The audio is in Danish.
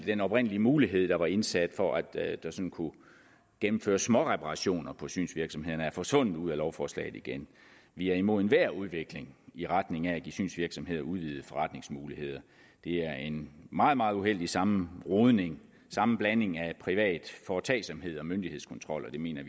den oprindelige mulighed der var indsat for at der sådan kunne gennemføres småreparationer på synsvirksomhederne er forsvundet ud af lovforslaget igen vi er imod enhver udvikling i retning af at give synsvirksomheder udvidede forretningsmuligheder det er en meget meget uheldig sammenrodning sammenblanding af privat foretagsomhed og myndighedskontrol og vi mener